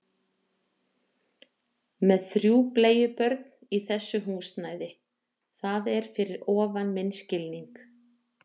Með þrjú bleiubörn í þessu húsnæði, það er fyrir ofan minn skilning